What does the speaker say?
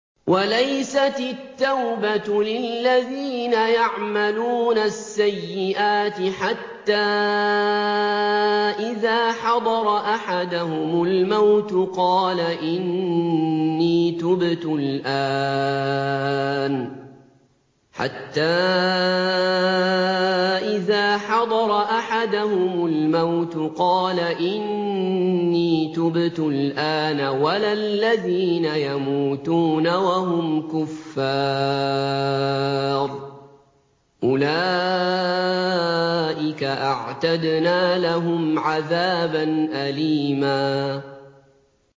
وَلَيْسَتِ التَّوْبَةُ لِلَّذِينَ يَعْمَلُونَ السَّيِّئَاتِ حَتَّىٰ إِذَا حَضَرَ أَحَدَهُمُ الْمَوْتُ قَالَ إِنِّي تُبْتُ الْآنَ وَلَا الَّذِينَ يَمُوتُونَ وَهُمْ كُفَّارٌ ۚ أُولَٰئِكَ أَعْتَدْنَا لَهُمْ عَذَابًا أَلِيمًا